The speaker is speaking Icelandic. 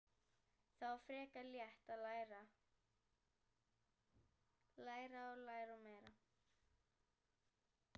Það var frekar létt: að læra, læra og læra meira.